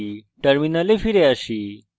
terminal ফিরে আসি